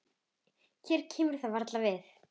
Mér kemur það varla við.